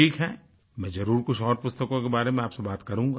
ठीक है मैं जरुर कुछ और पुस्तकों के बारे में आपसे बात करूँगा